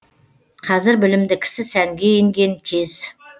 қазір білімді кісі сәнге енген кез